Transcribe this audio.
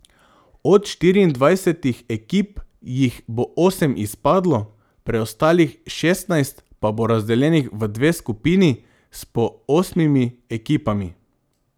Od štiriindvajsetih ekip jih bo osem izpadlo, preostalih šestnajst pa bo razdeljenih v dve skupini s po osmimi ekipami.